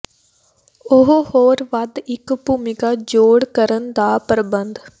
ਉਹ ਹੋਰ ਵੱਧ ਇੱਕ ਭੂਮਿਕਾ ਜੋੜ ਕਰਨ ਦਾ ਪਰਬੰਧ